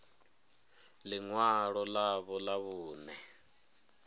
ḽi ṅwalo ḽavho ḽa vhuṋe